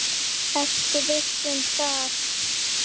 Ertu viss um það?